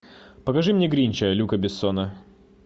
покажи мне гринча люка бессона